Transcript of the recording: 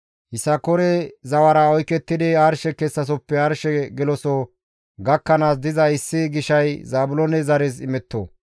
Yisakoore zawara oykettidi arshe kessasoppe arshe geloso gakkanaas diza issi gishay Zaabiloone zares imetto.